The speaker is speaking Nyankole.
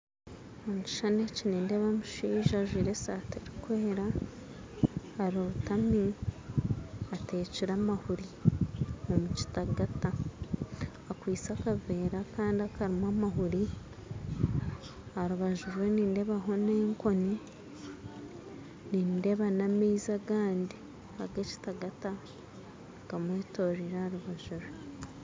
Omu kishuushani eki nindeeba omushaija ajwire esaati erikwera arotami ateekire amahuuri omu kitagata akwitse akaveera akandi akarimu amahuuri aharubaju rwe nindeebaho n'ekooni nindeeba n'amaizi agandi aga kitagata gamwetoreire aharubaju rwe